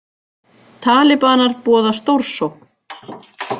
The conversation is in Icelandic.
Talibanar boða stórsókn